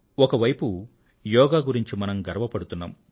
ఒకవైపు యోగా గురించి మనం గర్వపడుతున్నాం